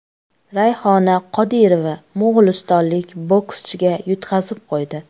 Rayhona Qodirova mo‘g‘ulistonlik bokschiga yutqazib qo‘ydi.